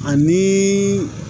Ani